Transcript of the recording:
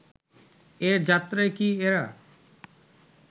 এ যাত্রায় কি এরা